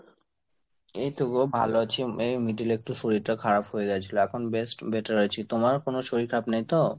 এইতো গো ভালো আছি এই middle এ একটু শরীরটা খারাপ হয়ে গেছিল। এখন best better আছে। তোমার কোন শরীর খারাপ নেই তো?